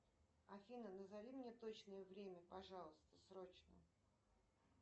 афина назови мне точное время пожалуйста срочно